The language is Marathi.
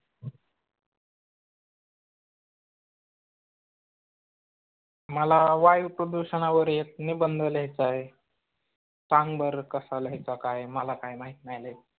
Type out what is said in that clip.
मला वायू प्रदूषणावर एक निबंध लिहायचा आहे, संग बर कसा लिहायचा काय मला काय माहित माही लय.